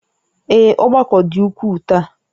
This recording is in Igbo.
Ee, ọgbakọ dị ukwuu taa